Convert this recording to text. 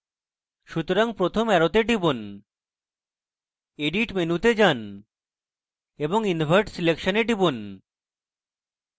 সুতরাং প্রথম অ্যারোতে টিপুন edit menu তে যান এবং invert selection এ টিপুন